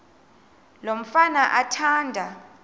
lo mfana athanda